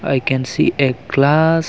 i can see a glass.